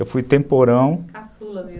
Eu fui temporão... Caçula mesmo.